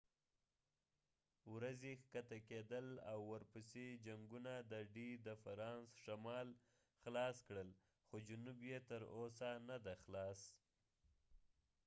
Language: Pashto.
د d ورځې ښکته کیدل او ورپسې جنګونو د فرانس شمال خلاص کړل خو جنوب یې تر اوسه نه دی خلاص